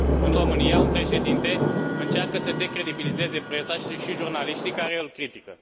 În România, un președinte încearcă să decredibilizeze presa și jurnaliștii care îl critică.